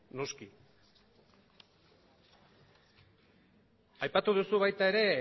noski aipatu duzu baita ere